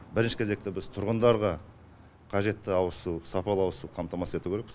бірінші кезекте біз тұрғындарға қажетті ауызсу сапалы ауызсу қамтамасыз ету керекпіз